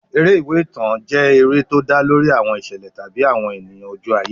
Eré ìwé ìtàn jẹ́ eré tó dá lórí àwọn ìṣẹ̀lẹ̀ tàbí àwọn ènìyàn ojú ayé.